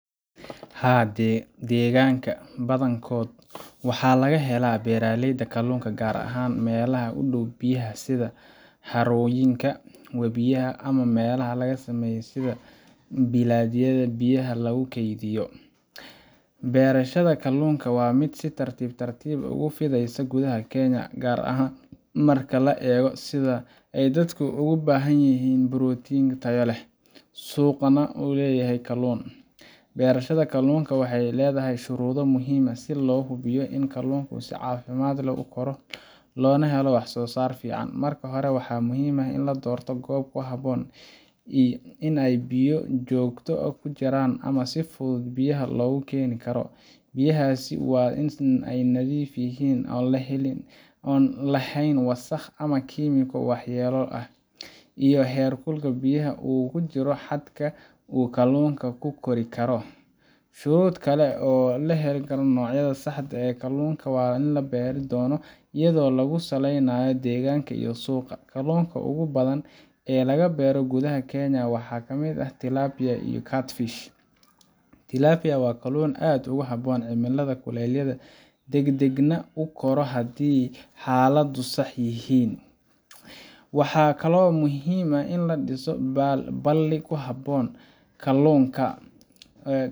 Haa, degaanka badankooda waxaa laga helaa beeraleyda kaluunka, gaar ahaan meelaha u dhow biyaha sida harooyinka, webiyada ama meelaha la sameeyay sida balliyada biyaha lagu keydiyo . Beerashada kaluunka waa mid si tartiib tartiib ah ugu fidaysa gudaha Kenya, gaar ahaan marka la eego sida ay dadku ugu baahan yihiin borotiin tayo leh, suuqna u leeyahay kaluunka. Beerashada kaluunka waxay leedahay shuruudo muhiim ah si loo hubiyo in kaluunka si caafimaad leh u koro loona helo wax-soo-saar fiican. Marka hore, waxaa muhiim ah in la doorto goob ku habboon oo ay biyo joogto ah ku jiraan ama si fudud biyaha loogu keeni karo. Biyahaasi waa in ay nadiif yihiin, aan lahayn wasakh ama kiimiko waxyeello leh, iyo in heerkulka biyaha uu ku jiro xadka uu kaluunka ku kori karo. Shuruud kale waa in la helo nooca saxda ah ee kalluunka la beeri doono iyadoo lagu salaynayo deegaanka iyo suuqa. Kaluunka ugu badan ee la beero gudaha Kenya waxaa ka mid ah tilapia iyo catfish. Tilapia waa kaluun aad ugu habboon cimilada kulaylaha, degdegna u kora haddii xaaladuhu sax yihiin. Waxaa kaloo muhiim ah in la dhiso balli ku habboon kalluunka,